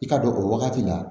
I ka don o wagati la